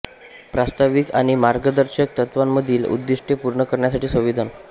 प्रास्ताविका आणि मार्गदर्शक तत्त्वांमधील उद्दिष्टे पूर्ण करण्यासाठी संविधान